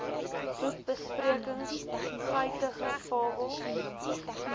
boekbesprekings guitige fabels